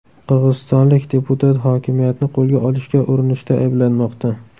Qirg‘izistonlik deputat hokimiyatni qo‘lga olishga urinishda ayblanmoqda.